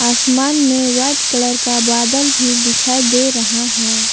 आसमान में white colour का बादल भी दिखाई दे रहा है।